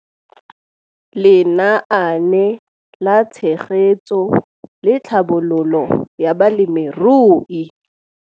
Lenaane la Tshegetso le Tlhabololo ya Balemirui